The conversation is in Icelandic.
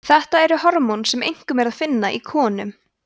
þetta eru hormón sem einkum er að finna í konum